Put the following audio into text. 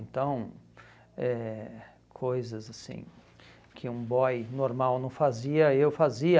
Então, eh coisas assim que um boy normal não fazia, eu fazia.